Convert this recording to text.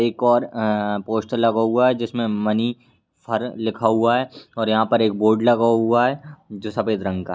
एक और-अ पोस्टर लगा हुआ है जिसमें मनी फार लिखा हुआ है और यहाँ पर एक बोर्ड लगा हुआ है जो सफेद रंग का है ---